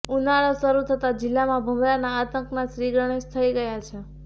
ઉનાળો શરૂ થતાં જિલ્લામાં ભમરાના આતંકના શ્રીગણેશ થઈ ગયા છે